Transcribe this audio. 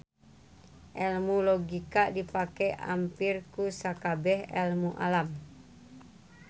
Elmu logika dipake ampir ku sakabeh elmu alam